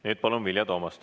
Nüüd palun Vilja Toomasti.